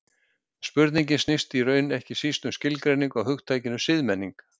Spurningin snýst í raun ekki síst um skilgreiningu á hugtakinu siðmenning.